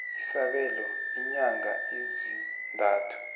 isabelo iinyanga ezintathu